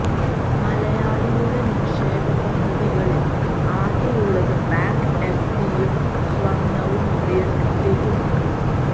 മലയാളിയുടെ നിക്ഷേപ പദ്ധതികളില് ആകെയുള്ളത് ബാങ്ക് എഫ്ഡിയും സ്വര്ണവും റിയല് എസ്റ്റേറ്റുമാണ്